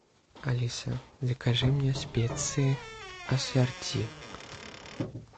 алиса закажи мне специи ассорти